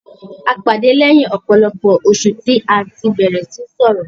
A pàdé lẹ́yìn ọ̀pọ̀lọpọ̀ oṣù tí a tí bẹ̀rẹ̀ síí sọrọ̀.